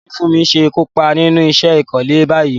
Báwo ni Funmi ṣe kópa nínú iṣẹ́ ìkọ́lé báyìí?